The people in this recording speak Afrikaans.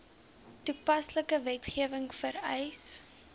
toepaslike wetgewing vereis